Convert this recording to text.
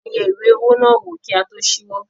A yẹ ìwé owó náà wò kí a tó ṣíwọ́.